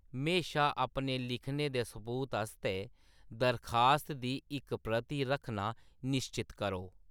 म्हेशा अपने लिखने दे सबूत आस्तै दरखास्त दी इक प्रति रक्खना निश्चत करो।